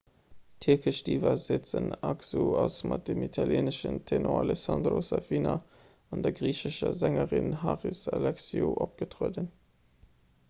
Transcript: d'tierkesch diva sezen aksu ass mat dem italieeneschen tenor alessandro safina an der griichescher sängerin haris alexiou opgetrueden